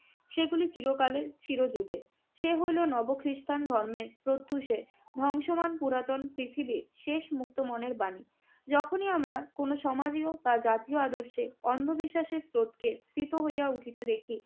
সেগুলো চিরকালের, চিরযুগের। সে হইল নব খ্রিষ্টান ধর্মের প্রত্যুষে ধ্বংসমান পুরাতন পৃথিবীর শেষ মুক্ত মনের বাণী। যখনই আমরা কোন সমাজীয় বা জাতীয় আদর্শে অন্ধবিশ্বাসের স্রোতকে প্রীত হইয়া উঠিতে দেখি